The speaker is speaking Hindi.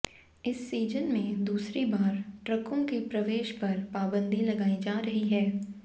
इस सीजन में दूसरी बार ट्रकों के प्रवेश पर पाबंदी लगायी जा रही है